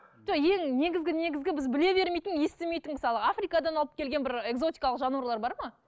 жоқ ең негізгі негізгі біз біле бермейтін естімейтін мысалы африкадан алып келген бір экзотикалық жануарлар бар ма